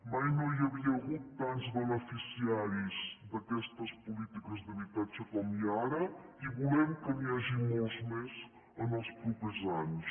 mai no hi havia hagut tants beneficiaris d’aquestes polítiques d’habitatge com hi ha ara i volem que n’hi hagi molts més en els propers anys